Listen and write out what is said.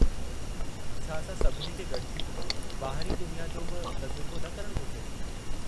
छा असां सभिनी खे गॾिजी ॿाहिरीं दुनिया जो बि तजुरिबो न करणु घुरिजे?